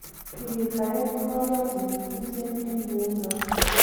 Kirirtaen kiporyotinik tuten eng neunon .